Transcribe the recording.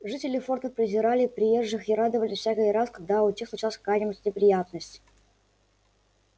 жители форта презирали приезжих и радовались всякий раз когда у тех случалась какая нибудь неприятность